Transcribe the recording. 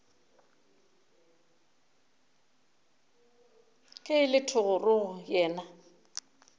ge e le thogorogo yena